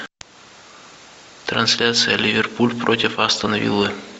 трансляция ливерпуль против астон виллы